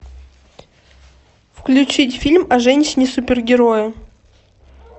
включить фильм о женщине супергерое